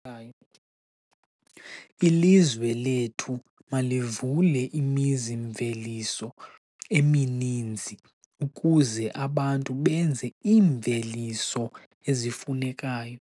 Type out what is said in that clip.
Ilizwe lethu malivule imizi-mveliso emininzi ukuze abantu benze iimveliso ezifunekayo.